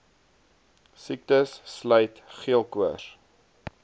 siektes sluit geelkoors